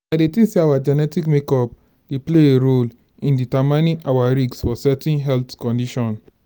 i dey think say our genetic makeup dey play a role in determining our risk for certain health condition.